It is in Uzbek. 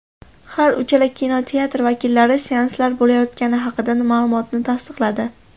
Har uchala kinoteatr vakillari seanslar bo‘layotgani haqidagi ma’lumotni tasdiqladi.